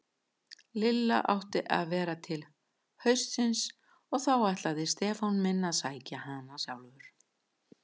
Lilla átti að vera til haustsins og þá ætlaði Stefán minn að sækja hana sjálfur.